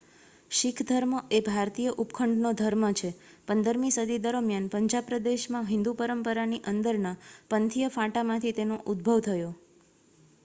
શીખ ધર્મ એ ભારતીય ઉપખંડનો ધર્મ છે 15મી સદી દરમિયાન પંજાબ પ્રદેશમાં હિંદુ પરંપરાની અંદરના પંથીય ફાંટામાંથી તેનો ઉદ્ભવ થયો